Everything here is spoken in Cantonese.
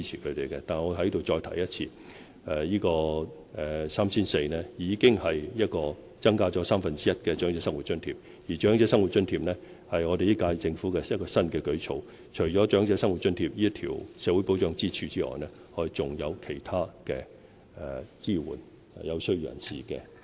我在此再重申 ，3,400 元已經是增加了三分之一的"長者生活津貼"，而"長者生活津貼"是本屆政府的新舉措；除了"長者生活津貼"這根社會保障支柱外，我們還有其他途徑支援有需要的人士。